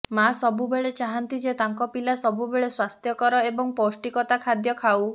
ମା ସବୁବେଳେ ଚାହାନ୍ତି ଯେ ତାଙ୍କ ପିଲା ସବୁବେଳେ ସ୍ୱାସ୍ଥ୍ୟକର ଏବଂ ପୌଷ୍ଠିକତା ଖାଦ୍ୟ ଖାଉ